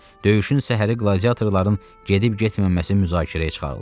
Döyüşün səhəri qladiatorların gedib-getməməsi müzakirəyə çıxarıldı.